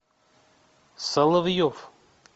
соловьев